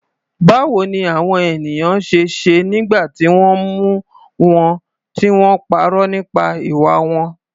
Báwo ni àwọn ènìyàn ṣe ṣe nígbà tí wọ́n mú wọn tí wọ́n parọ́ nípa ìwà wọn?